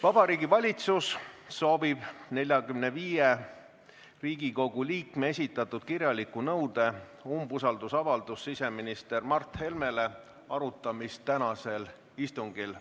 Vabariigi Valitsus soovib 45 Riigikogu liikme esitatud kirjaliku nõude "Umbusaldusavaldus siseminister Mart Helmele" arutamist tänasel istungil.